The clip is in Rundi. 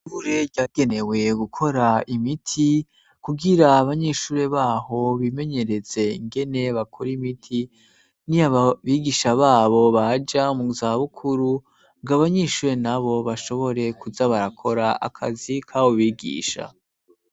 Ishure ryagenewe gukora imiti, kugira abanyeshure baho bimenyereze ingene bakora imiti, niyo ababigisha babo baja mu zabukuru ngo abanyeshure nabo bashobore kuza barakora akazi kabo bigisha.